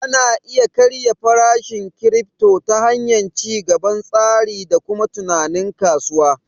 Ana iya karya farashin kirifto ta hanyar ci gaban tsari da kuma tunanin kasuwa